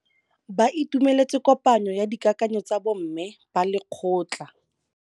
Ba itumeletse kôpanyo ya dikakanyô tsa bo mme ba lekgotla.